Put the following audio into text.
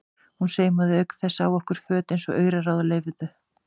Hún saumaði auk þess á okkur föt eins og auraráð leyfðu.